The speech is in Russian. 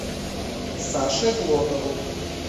саше глотову